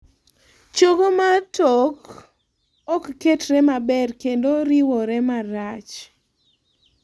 chogo mar tok (chogo maduong') ok ketre maber kendo riwore marach